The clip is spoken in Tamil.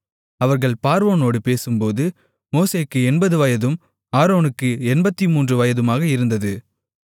அவர்கள் பார்வோனோடு பேசும்போது மோசேக்கு எண்பது வயதும் ஆரோனுக்கு எண்பத்துமூன்று வயதுமாக இருந்தது